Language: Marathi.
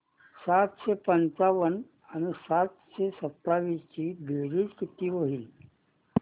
सातशे पंचावन्न आणि सातशे सत्तावीस ची बेरीज किती होईल